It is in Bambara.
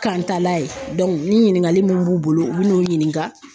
Kantala ye ni ɲininkali mun b'u bolo u bɛ n'u ɲininka.